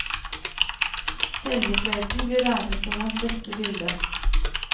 Seljefløyten blir regnet som hans beste bilde.